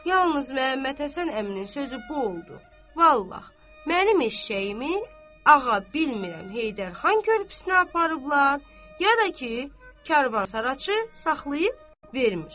Yalnız Məhəmmədhəsən əminin sözü bu oldu: Vallah, mənim eşşəyimi ağa bilmirəm Heydərxan körpüsünə aparıblar, ya da ki, karvansaraçı saxlayıb vermir.